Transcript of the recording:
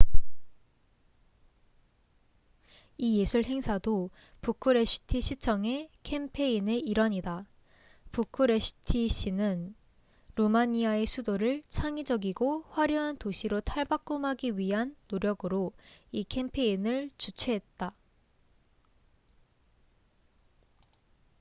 이 예술 행사도 부쿠레슈티 시청의 캠페인의 일환이다 부쿠레슈티시는 루마니아의 수도를 창의적이고 화려한 도시로 탈바꿈하기 위한 노력으로 이 캠페인을 주최했다